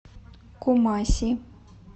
кумаси